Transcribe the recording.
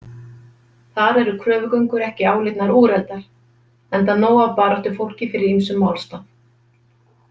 Þar eru kröfugöngur ekki álitnar úreltar enda nóg af baráttufólki fyrir ýmsum málstað.